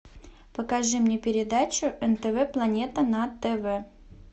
покажи мне передачу нтв планета на тв